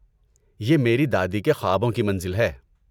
یہ میری دادی کے خوابوں کی منزل ہے۔